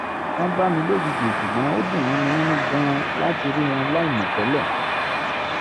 wọ́n bá mi lójijì ṣùgbọ́n ó dùn mọ́ mi nínú gan-an láti rí wọn láìmọ̀ tẹ́lẹ̀